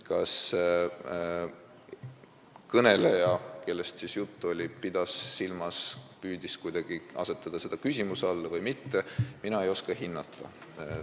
Kas kõneleja, kellest juttu oli, püüdis kuidagi asetada seda küsimuse alla või mitte, seda mina ei oska hinnata.